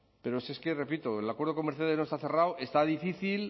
pero si es que repito el acuerdo con mercedes no está cerrado está difícil